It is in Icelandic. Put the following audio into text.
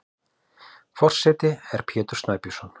Forseti er Pétur Snæbjörnsson.